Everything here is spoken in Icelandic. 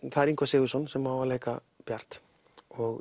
það er Ingvar Sigurðsson sem á að leika Bjart